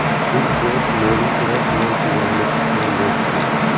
Turkiya Shimoliy Iroq bilan chegarani qisman yopdi.